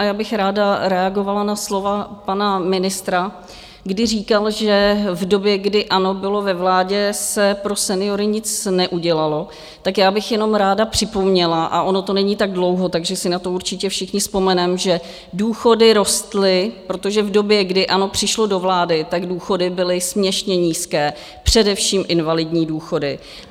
A já bych ráda reagovala na slova pana ministra, kdy říkal, že v době, kdy ANO bylo ve vládě, se pro seniory nic neudělalo, tak já bych jenom ráda připomněla, a ono to není tak dlouho, takže si na to určitě všichni vzpomeneme, že důchody rostly, protože v době, kdy ANO přišlo do vlády, tak důchody byly směšně nízké, především invalidní důchody.